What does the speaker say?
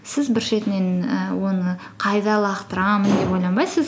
сіз бір шетінен і оны қайда лақтырамын деп ойланбайсыз